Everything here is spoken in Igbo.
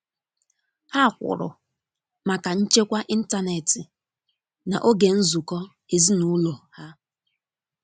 ha kwụrụ maka nchekwa ịntanetị na oge nzụko ezinulo ha